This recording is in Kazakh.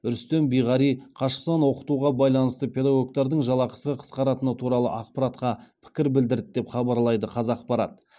рүстем биғари қашықтан оқытуға байланысты педагогтардың жалақысы қысқаратыны туралы ақпаратқа пікір білдірді деп хабарлайды қазақпарат